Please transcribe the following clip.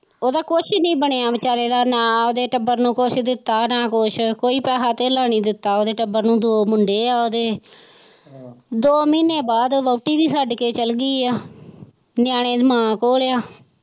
ਉਹਦਾ ਕੁੱਝ ਨਹੀਂ ਬਣਿਆ ਵਿਚਾਰੇ ਦਾ ਨਾ ਉਹਦੇ ਟੱਬਰ ਨੂੰ ਕੁੱਝ ਦਿੱਤਾ ਨਾ ਕੁੱਝ ਕੋਈ ਪੈਸਾ ਧੇਲਾ ਨਹੀਂ ਦਿੱਤਾ ਉਹਦੇ ਟੱਬਰ ਨੂ ਦੋ ਮੁੰਡੇ ਹੈ ਉਹਦੇ ਦੋ ਮਹੀਨਿਆਂ ਬਾਅਦ ਵਹੁਟੀ ਵੀ ਛੱਡ ਕੇ ਚੱਲ ਗਈ ਹੈ ਨਿਆਣੇ ਮਾਂ ਕੋਲ ਹੈ।